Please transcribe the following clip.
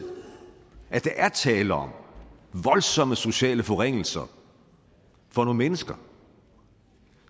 at der er tale om voldsomme sociale forringelser for nogle mennesker